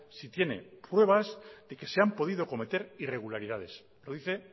si tiene pruebas de que se han podido cometer irregularidades lo dice